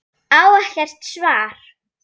Á ekkert svar.